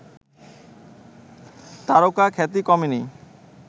তারকাখ্যাতি কমেনি